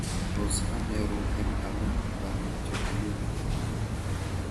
Tos' anyoruu eng' ano ng'anug' chetiliilen